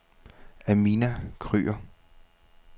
Amina Kryger